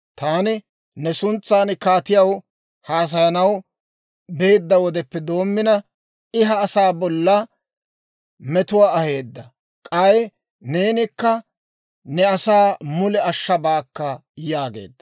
Taani ne suntsan kaatiyaw haasayanaw beedda wodeppe doommina, I ha asaa bolla metuwaa aheedda. K'ay neenikka ne asaa mule ashshabaakka» yaageedda.